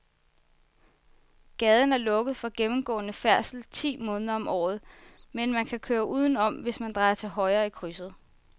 Gaden er lukket for gennemgående færdsel ti måneder om året, men man kan køre udenom, hvis man drejer til højre i krydset.